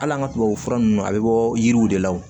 Hali an ka tubabufura ninnu a bɛ bɔ yiriw de la wo